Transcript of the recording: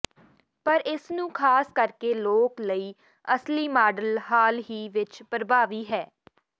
ਪਰ ਇਸ ਨੂੰ ਖਾਸ ਕਰਕੇ ਲੋਕ ਲਈ ਅਸਲੀ ਮਾਡਲ ਹਾਲ ਹੀ ਵਿਚ ਪ੍ਰਭਾਵੀ ਹੈ